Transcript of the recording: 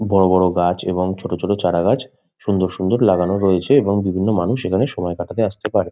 বড়ো বড়ো গাছ এবং ছোট ছোট চারাগাছ সুন্দর সুন্দর লাগানো রয়েছে এবং বিভিন্ন মানুষ এখানে সময় কাটাতে আসতে পারে।